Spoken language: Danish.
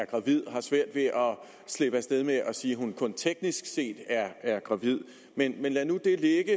slippe af sted med at sige at hun kun teknisk set er gravid men lad nu det